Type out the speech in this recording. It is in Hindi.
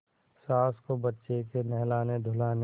सास को बच्चे के नहलानेधुलाने